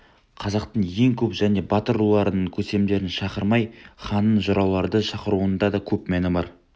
қазақтың ең көп және батыр руларының көсемдерін шақырмай ханның жырауларды шақыруында да көп мән бар